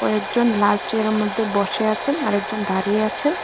কয়েকজন লাল চেয়ারের মধ্যে বসে আছেন আর একজন দাঁড়িয়ে আছেন।